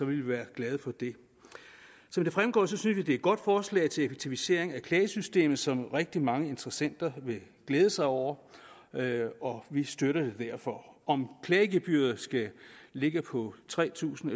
vi være glade for det som det fremgår synes vi det er et godt forslag til effektivisering af klagesystemet som rigtig mange interessenter vil glæde sig over og vi støtter det derfor om klagegebyret skal ligge på tre tusind